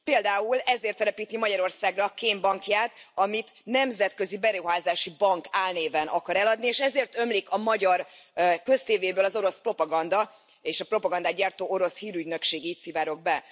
Például ezért telepíti Magyarországra kémbankját, amit Nemzetközi Beruházási Bank álnéven akar eladni, és ezért ömlik a magyar köztévéből az orosz propaganda és a propagandát gyártó orosz hírügynökség így szivárog be.